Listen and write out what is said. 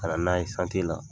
Ka nan'a ye la